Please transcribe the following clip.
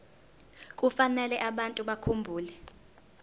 kufanele abantu bakhumbule